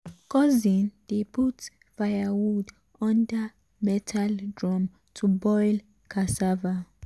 cousin dey put firewood under metal drum to boil cassava.